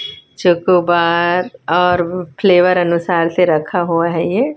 chocobar और flavour अनुसार से रखा हुआ है ये--